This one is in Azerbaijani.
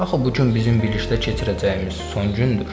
Axı bu gün bizim birlikdə keçirəcəyimiz son gündür.